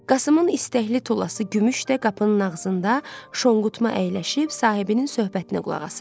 Qasımın istəkli tulası Gümüş də qapının ağzında şonqutma əyləşib sahibinin söhbətinə qulaq asırdı.